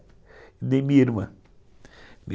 Nem minha irmã.